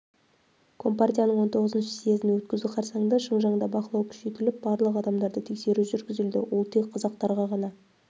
компартияның хіх съезін өткізу қарсаңында шыңжаңда бақылау күшейтіліп барлық адамдарды тексеру жүргізілді ол тек қазақтарға ғана